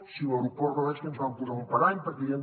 si l’aeroport no és que ens van posar un parany perquè hi ha